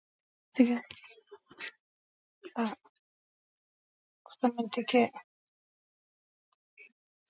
Til þess að skýra hvernig þessi tegund títrunar virkar verða eftirfarandi tvær sýrur notaðar.